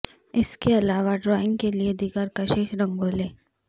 اس کے علاوہ ڈرائنگ کے لئے دیگر کشش رنگوں لے